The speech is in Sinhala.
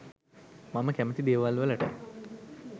මම කැමති දේවල්වලට